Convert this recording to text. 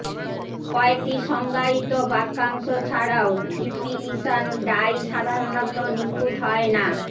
কয়েকটি সংজ্ঞায়িত বাক্যাংশ ছাড়াও ডিপিইশন ডাই সাধারণত নিখুঁত হয় না